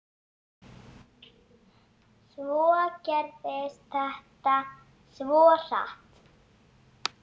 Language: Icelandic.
Svo gerðist þetta svo hratt.